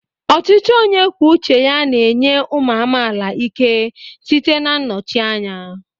Ọchịchị onye kwuo uche ya na-enye ụmụ amaala ike site na nnọchite anya.